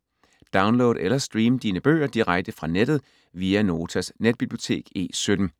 Download eller stream dine bøger direkte fra nettet via Notas netbibliotek E17.